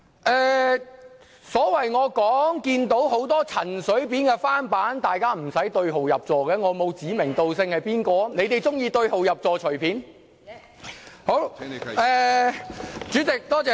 我在發言中表示看到很多陳水扁的翻版，但大家無須對號入座，我並沒有指名道姓；如他們喜歡對號入座，請悉隨尊便。